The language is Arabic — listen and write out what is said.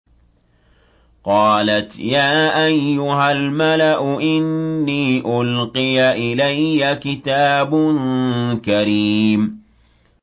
قَالَتْ يَا أَيُّهَا الْمَلَأُ إِنِّي أُلْقِيَ إِلَيَّ كِتَابٌ كَرِيمٌ